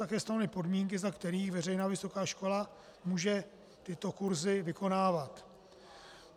také stanovuje podmínky, za kterých veřejná vysoká škola může tyto kurzy vykonávat.